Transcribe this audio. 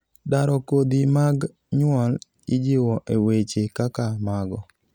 daro kodhi mag nyuol ijiwo e weche kaka mago